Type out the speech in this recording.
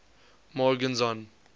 morgenzon